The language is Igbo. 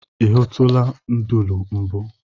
I hụtụla nduru mbụ?